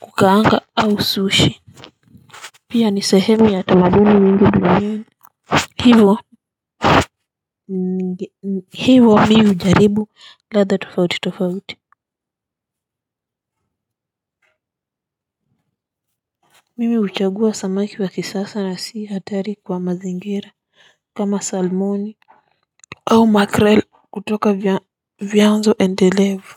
kukaanga au sushi. Pia ni sehemu ya tamaduni mingi. Hivo mi hujaribu ladha tofauti tofauti. Mimi huchagua samaki wa kisasa na si hatari kwa mazingira kama salmoni au 'Makrel' kutoka vyanzo endelevu.